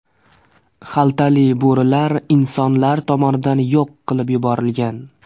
Xaltali bo‘rilar insonlar tomonidan yo‘q qilib yuborilgan.